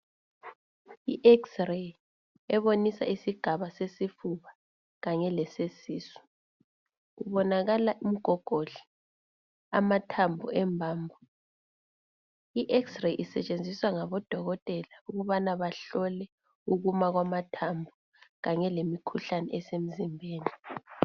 IXray ebonisa isigaba sesifuba kanye lesesisu. Kubonakala umgogodla, amathambo embambo. I Xray isetshenziswa ngabodokotela ukubana bahlole ukuma kwamathambo kanye lemikhuhlane esemzimbeni .